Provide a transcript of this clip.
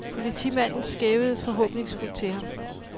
Politimanden skævede forhåbningsfuldt til ham.